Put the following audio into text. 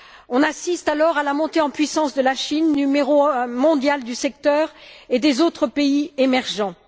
On assiste alors à la montée en puissance de la Chine, numéro un mondial du secteur, et des autres pays émergents.